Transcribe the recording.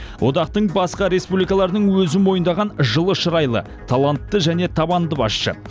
одақтың басқа республикалаларының өзі мойындаған жылы шұрайлы талантты және табанды басшы